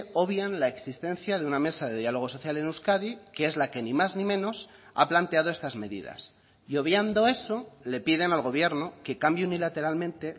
obvian la existencia de una mesa de diálogo social en euskadi que es la que ni más ni menos ha planteado estas medidas y obviando eso le piden al gobierno que cambie unilateralmente